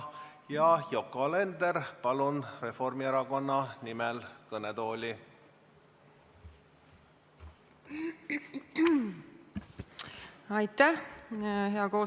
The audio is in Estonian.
Yoko Alender Reformierakonna nimel, palun kõnetooli!